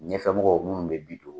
Ɲɛfɛ ɔmɔgɔw minnu bɛ bi don.